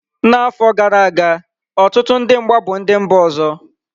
N'afọ gara aga, ọtụtụ ndị mgba bụ ndị mba ọzọ.